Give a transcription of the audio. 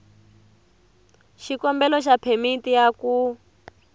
xikombelo xa phemiti ya ku